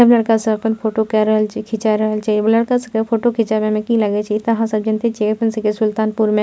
सब लड़का सब अपन फोटो के रहल छै खींचा रहल छै उ लड़का सब के फोटो खिचाबे में की लागे छै इ ते आहां सब जैनएते छीये अपन सबके सुल्तानपूर में --